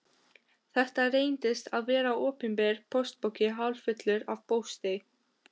Þetta reyndist vera opinber póstpoki hálffullur af pósti.